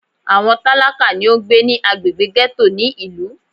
Àwọn tálákà ni ó ń gbé ní agbègbè gẹ́tò ní ìlú.